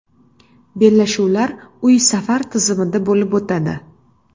Bellashuvlar uy-safar tizimida bo‘lib o‘tadi.